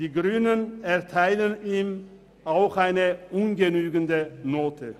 Die Grünen erteilen ihm eine ungenügende Note.